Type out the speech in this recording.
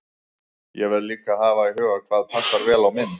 Ég verð líka að hafa í huga hvað passar vel á mynd.